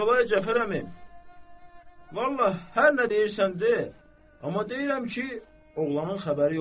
Kərbəlayı Cəfər əmi, vallah hər nə deyirsən de, amma deyirəm ki, oğlanın xəbəri yoxdur.